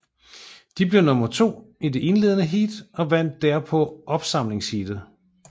De blev nummer to i det indledende heat og vandt derpå opsamlingsheatet